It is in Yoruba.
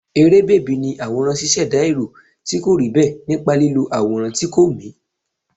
Eré bèbí ni àwòrán ṣíṣẹ̀dá èrò tí kò rí bẹ́ẹ̀ nípa lílo àwòrán tí kò mì.